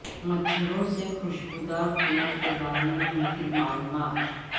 مچھروں سے کھشبودار تیل کے بارے میں مفید معلومات